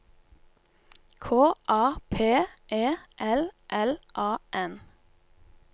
K A P E L L A N